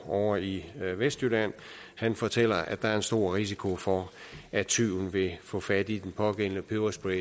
ovre i vestjylland fortæller at der er en stor risiko for at tyven vil få fat i den pågældende peberspray